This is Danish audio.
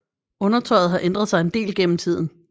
Undertøjet har ændret sig en del gennem tiden